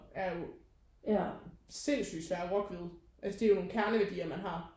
Er jo sindssygt svær at rokke ved altså det er jo nogle kerneværdier man har